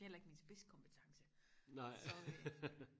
det er heller ikke min spidskompetence så øh